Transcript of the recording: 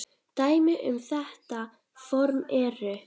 Dæmi um þetta form eru